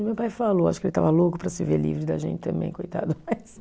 E meu pai falou, acho que ele estava louco para se ver livre da gente também, coitado.